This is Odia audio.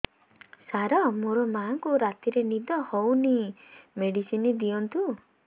ସାର ମୋର ମାଆଙ୍କୁ ରାତିରେ ନିଦ ହଉନି ମେଡିସିନ ଦିଅନ୍ତୁ